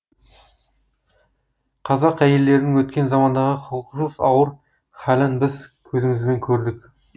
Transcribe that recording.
қазақ әйелдерінің өткен замандағы құқықсыз ауыр халін біз көзімізбен көрдік